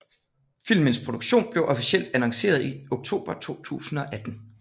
Filmens produktion blev officelt annonceret i oktober 2018